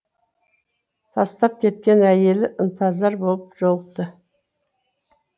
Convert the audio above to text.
тастап кеткен әйелі ынтызар болып жолықты